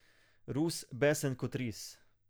Rus, besen kot ris.